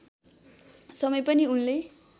समय पनि उनले